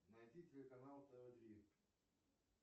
найти телеканал тв три